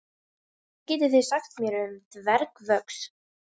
Hvað getið þið sagt mér um dvergvöxt?